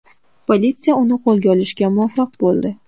Politsiya uni qo‘lga olishga muvaffaq bo‘ldi.